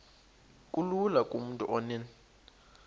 kulula kumntu onen